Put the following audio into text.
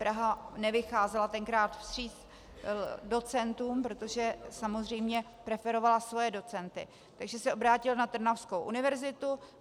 Praha nevycházela tenkrát vstříc docentům, protože samozřejmě preferovala svoje docenty, takže se obrátil na trnavskou univerzitu.